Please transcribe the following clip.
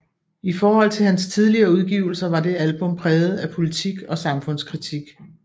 I forhold til hans tidligere udgivelser var det album præget af politik og samfundskritik